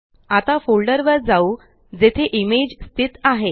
आता फोल्डर वर जाऊ जेथे इमेज स्थित आहे